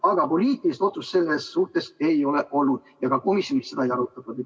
Aga poliitilist otsust selle kohta ei ole olnud ja ka komisjonis seda ei arutatud.